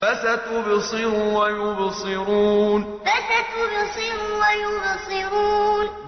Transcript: فَسَتُبْصِرُ وَيُبْصِرُونَ فَسَتُبْصِرُ وَيُبْصِرُونَ